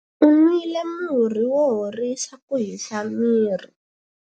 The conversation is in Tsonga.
U nwile murhi wo horisa ku hisa miri.